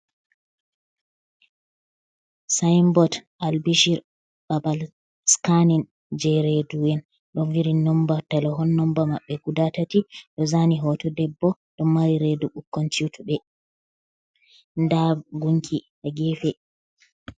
Sainbot albishir, babal sikanin je redu'en, ɗon vidi nomba talahon nomba maɓɓe guda tati, ɗo zani hoto debbo ɗo mari redu ɓukkun chutuɓe, nda gunki ha gefe.